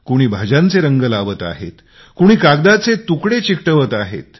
कोणी भाज्यांचे रंगकाम करत आहेत कोणी कागदाचे तुकडे चीटकवत आहेत